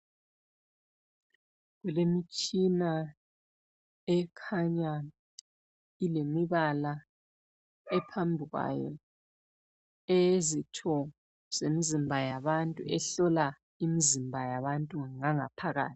Kulemtshina ekhanya ilemibala ephambikwayo eyezitho zemzimba yabantu ehlola imzimba yabantu ngangaphakathi.